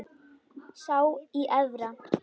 Sá í Efra.